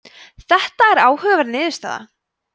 þetta er áhugaverð niðurstaða